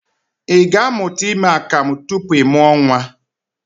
I ga-amụta ime akamụ tupu ị mụọ nnwa?